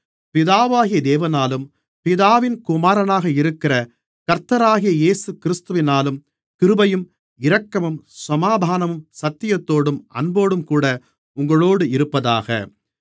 பிதாவாகிய தேவனாலும் பிதாவின் குமாரனாக இருக்கிற கர்த்தராகிய இயேசுகிறிஸ்துவினாலும் கிருபையும் இரக்கமும் சமாதானமும் சத்தியத்தோடும் அன்போடும்கூட உங்களோடு இருப்பதாக